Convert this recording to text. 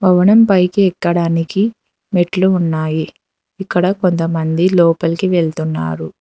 Hotel పైకి ఎక్కడానికి మెట్లు ఉన్నాయి ఇక్కడ కొంతమంది లోపలికి వెళ్తున్నారు.